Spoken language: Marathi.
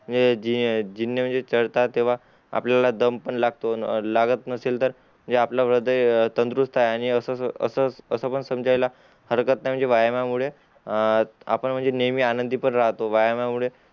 ए जी जिने म्हणजे चढता तेव्हा आपल्याला दम पण लागतो अन लागत नसेल तर म्हणजे आपलं हृदय तंदुरुस्त आणि असं अस अस पण संजय ला हाडकत नई व्यायामा मुळे अ आपण म्हणजे नेहमी आनंदी पण राहतो व्यायामामुळे